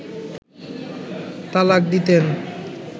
তালাক দিতেন